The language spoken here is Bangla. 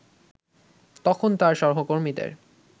তখন তার সহকর্মীদের